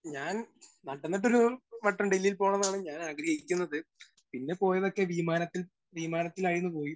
Speaker 1 ഞാൻ നടന്നിട്ടൊരു വട്ടം ഡൽഹിയിൽ പോകണം എന്നാണ് ഞാൻ ആഗ്രഹിക്കുന്നത്. പിന്നെ പോയതൊക്കെ വിമാനത്തിൽ വിമാനത്തിലായിരുന്നു പോയി